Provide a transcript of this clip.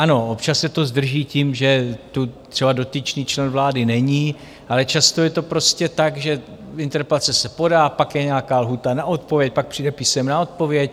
Ano, občas se to zdrží tím, že tu třeba dotyčný člen vlády není, ale často je to prostě tak, že interpelace se podá, pak je nějaká lhůta na odpověď, pak přijde písemná odpověď.